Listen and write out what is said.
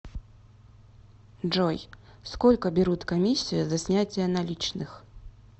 джой сколько берут комиссию за снятие наличных